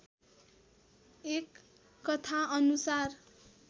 एक कथा अनुसार